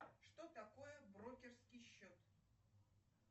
что такое брокерский счет